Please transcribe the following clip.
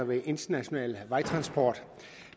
venstre